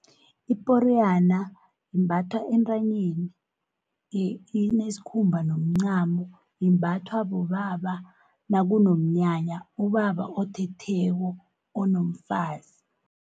Iporiyana imbathwa entranyeni inesikhumba nomncamo, imbathwa bobaba nakunomnyanya ubaba othetheko onomfazi.